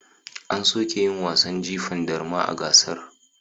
An soke yin wasan jifan darma a gasar.